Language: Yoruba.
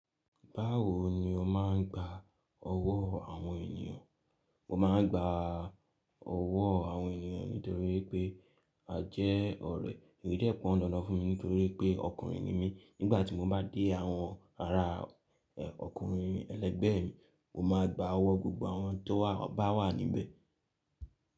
Báwo ni o máa ń gba ọ̀wọ́ àwọn ènìyàn? Mo máa ń gba ọ̀wọ́ àwọn ènìyàn nítorí pé a jẹ́ ọ̀rẹ́, èyí dẹ́ pọ̀ń dandan fún mi nítorí pé ọkùnrin ni mí. Nígbà tí mo bá dé àwọn ará ọkùnrin, ẹlẹgbẹ́ mi, mo máa gba ọ̀wọ́ gbogbo àwọn tó bá wà níbẹ̀